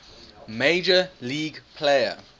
major league player